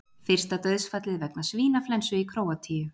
Fyrsta dauðsfallið vegna svínaflensu í Króatíu